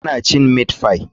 Tana cin meat pie.